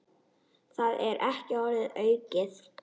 Það er ekki orðum aukið.